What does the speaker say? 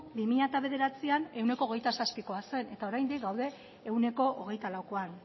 bi mila bederatzian ehuneko hogeita zazpikoa zen eta oraindik gaude ehuneko hogeita laukoan